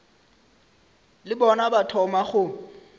le bona ba thoma go